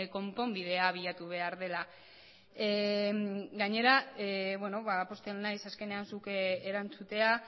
konponbidea bilatu behar dela gainera pozten naiz azkenean zuk erantzutea